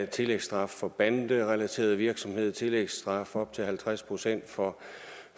tillægsstraf for banderelateret virksomhed tillægsstraf op til halvtreds procent for